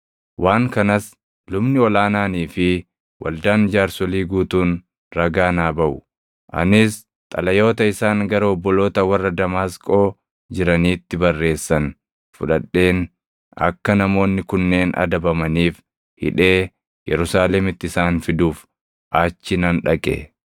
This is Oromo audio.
waan kanas lubni ol aanaanii fi waldaan jaarsolii guutuun ragaa naa baʼu. Anis xalayoota isaan gara obboloota warra Damaasqoo jiraniitti barreessan fudhadheen akka namoonni kunneen adabamaniif hidhee Yerusaalemitti isaan fiduuf achi nan dhaqe.